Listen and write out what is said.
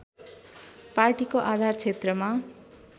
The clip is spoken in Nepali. पार्टीको आधार क्षेत्रमा